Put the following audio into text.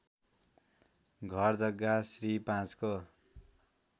घरजग्गा श्री ५ को